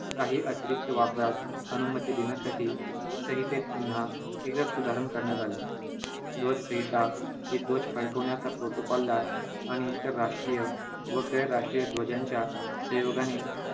काही अतिरिक्त वापरास अनुमती देण्यासाठी संहितेत पुन्हा एकदाच सुधारणा करण्यात आली ध्वज संहिता ही ध्वज फडकवण्याचा protocol ला आणि इतर राष्ट्रीय व गैरराष्ट्रीय ध्वजाच्या संयोगाने